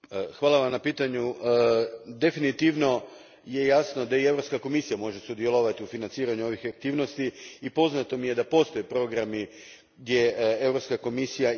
Definitivno je jasno da i Europska komisija može sudjelovati u financiranju ovih aktivnosti i poznato mi je da postoje programi gdje Europska komisija i financira razne aktivnosti.